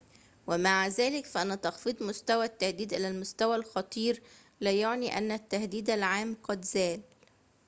ومع ذلك فإن تخفيض مستوى التهديد إلى المستوى الخطير لا يعني أن التهديد العام قد زال